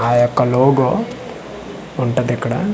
ఆ యొక్క లోగో ఉంటదిక్కడ.